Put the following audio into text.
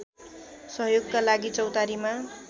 सहयोगका लागि चौतारीमा